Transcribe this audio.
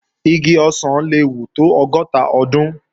Igi ọ̀sán le wù tó ọgọ́ta ọdún